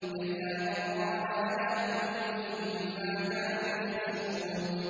كَلَّا ۖ بَلْ ۜ رَانَ عَلَىٰ قُلُوبِهِم مَّا كَانُوا يَكْسِبُونَ